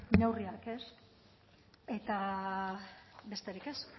neurriak ez eta besterik ez